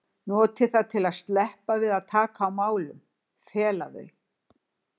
noti það til að sleppa við að taka á málunum, fela þau.